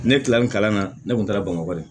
Ne kilalen kalan na ne kun taara bamakɔ de